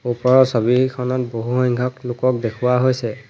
ওপৰৰ ছবিখনত বহুসংখ্যক লোকক দেখুওৱা হৈছে।